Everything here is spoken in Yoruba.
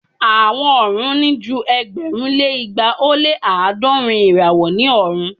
Awọn ọrun ni ju ẹgbẹ̀rún lé igba o lé aadọrun irawo ni ọrun.